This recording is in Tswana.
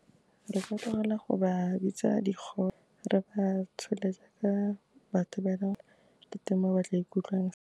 Re ka tlogela go ba bitsa digole, re ba tsholetsa ka batho ba e leng gore, ke teng mo ba tla ikutlwang.